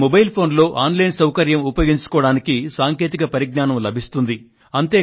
మీ mobile phone లో online సౌకర్యాన్ని ఉపయోగించుకోవడానికి సాంకేతిక పరిజ్ఞానం లభిస్తుంది